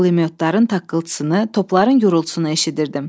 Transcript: Pulyotların taqqıltısını, topların gurultusunu eşidirdim.